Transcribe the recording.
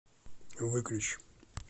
выключи